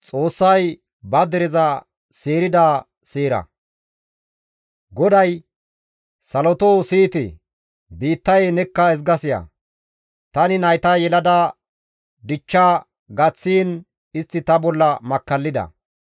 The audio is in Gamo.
GODAY, «Salotoo siyite! biittayee nekka ezga siya! Tani nayta yelada dichcha gaththiin istti ta bolla makkallida.